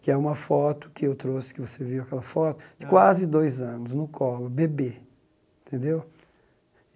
que é uma foto que eu trouxe, que você viu aquela foto, de quase dois anos, no colo, bebê, entendeu?